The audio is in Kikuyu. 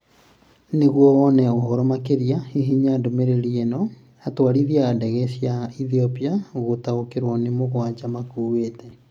Nĩguo wone ũhoro makĩria, hihinya ndomereriri eno: Atwarithia a ndege cia Ethiopia gũtaũkĩrwo nĩ mugwaja makuĩte